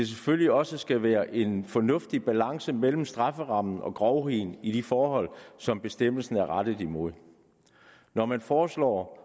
selvfølgelig også skal være en fornuftig balance mellem strafferammen og grovheden i de forhold som bestemmelsen er rettet imod når man foreslår